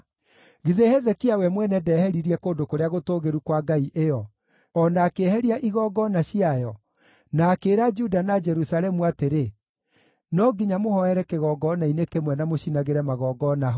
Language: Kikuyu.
Githĩ Hezekia we mwene ndeheririe kũndũ kũrĩa gũtũũgĩru kwa ngai ĩyo, o na akĩeheria igongona ciayo, na akĩĩra Juda na Jerusalemu atĩrĩ, ‘No nginya mũhooere kĩgongona-inĩ kĩmwe na mũcinagĩre magongona ho’?